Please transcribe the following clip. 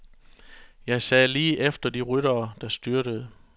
Jeg sad lige efter de ryttere, der styrtede.